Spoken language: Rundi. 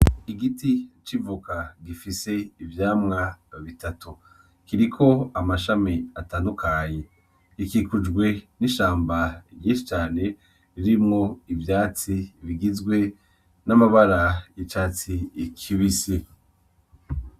Igiti c'ivoka gifise ivyamwa bitatu kiriko amashami atandukanye gikikujwe n'ishamba ryinshi cane ririmwo ivyatsi bigizwe n'amabara y'icatsi kibisi